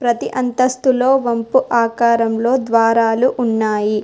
ప్రతి అంతస్తులో వంపు ఆకారంలో ద్వారాలు ఉన్నాయి.